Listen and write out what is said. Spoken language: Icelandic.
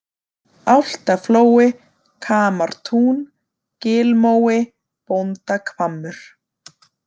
Álftaflói, Kamartún, Gilmói, Bóndahvammur